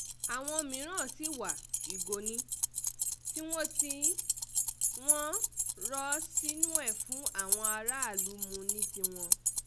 àwọn mìíràn sì wá ìgò ní um tiwọn tí wọ́n ń um rò ó sínú ẹ̀ fún àwọn aráàlú mú ní tiwọn